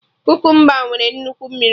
Kukumba nwere nnukwu mmiri